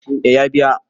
eh ya biya